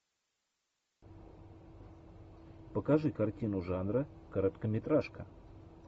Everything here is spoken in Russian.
покажи картину жанра короткометражка